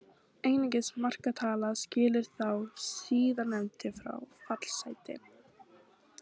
Einungis markatala skilur þá síðarnefndu frá fallsæti.